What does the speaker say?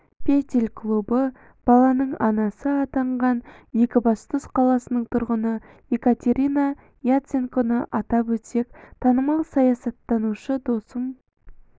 петель клубы баланың анасы атанған екібастұз қаласының тұрғыны екатерина яценконы атап өтсек танымал саясаттанушы досым